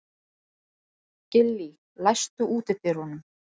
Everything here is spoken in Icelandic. Gillý, læstu útidyrunum.